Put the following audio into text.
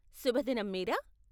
శుభదినం మీరా.